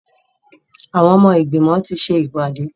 Àwọn ọmọ ìgbìmọ̀ ti ṣe ìpàdé.